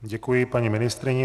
Děkuji paní ministryni.